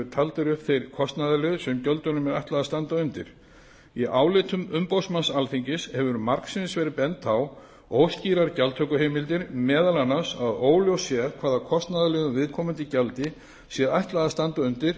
taldir upp þeir kostnaðarliðir sem gjöldunum er ætlað að standa undir í álitum umboðsmanns alþingis hefur margsinnis verið bent á óskýrar gjaldtökuheimildir meðal annars að óljóst sé hvaða kostnaðarliðum viðkomandi gjaldi sé ætlað að standa undir